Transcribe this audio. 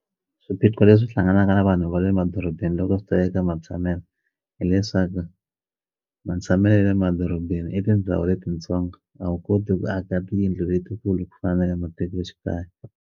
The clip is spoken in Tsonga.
Swiphiqo leswi hlanganaka na vanhu va le madorobeni loko swi ta eka matshamelo hileswaku matshamelo ya le madorobeni i tindhawu letitsongo a wu koti ku aka tiyindlu letikulu ku fana na le matikoxikaya.